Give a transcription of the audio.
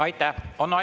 Aitäh!